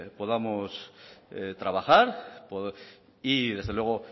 podamos trabajar y desde luego